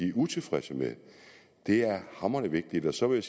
er utilfreds med det er hamrende vigtigt så vil